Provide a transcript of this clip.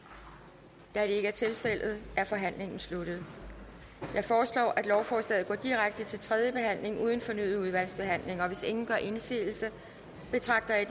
der er ikke er tilfældet er forhandlingen sluttet jeg foreslår at lovforslaget går direkte til tredje behandling uden fornyet udvalgsbehandling hvis ingen gør indsigelse betragter jeg